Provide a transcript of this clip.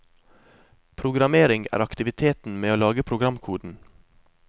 Programmering er aktiviteten med å lage programkoden.